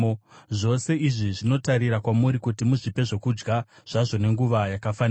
Zvose izvi zvinotarira kwamuri kuti muzvipe zvokudya zvazvo nenguva yakafanira.